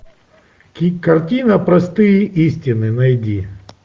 картина простые истины найди